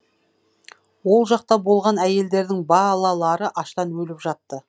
ол жақта болған әйелдердің балалары аштан өліп жатты